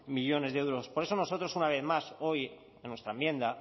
millónes de euros por eso nosotros una vez más hoy en nuestra enmienda